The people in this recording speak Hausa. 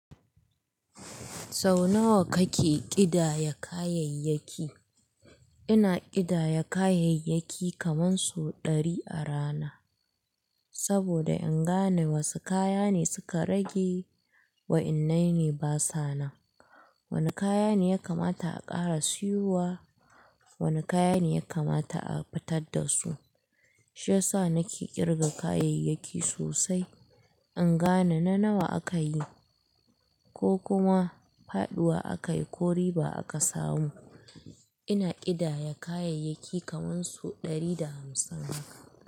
Sau nawa kake kidaya kayayyaki? Ina kidaya kayayyaki kaman su ɗari a rana. Saboda in gane wasu kaya ne suka rage wa in naine ba sa nan. Wane kaya ne ya kamata a ƙara siyowa, wane kaya ne ya kamata a fitar da su. Shiyasa nake ƙirga kayayyaki sosai. In gane na nawa aka yi ko kuma faɗuwa aka yi ko riba aka samu. Ina kidaya kayayyaki kaman su ɗari da hamsin haka.